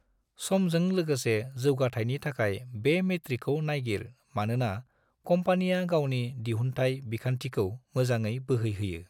समजों लोगोसे जौगाथाइनि थाखाय बे मेट्रिकखौ नायगिर मानोना कम्पानिया गावनि दिहुनथाइ बिखान्थिखौ मोजाङै बोहैहोयो।